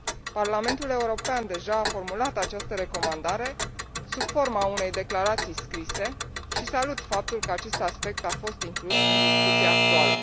Parlamentul European deja a formulat această recomandare sub forma unei declarații scrise și salut faptul că acest aspect a fost inclus în discuția actuală.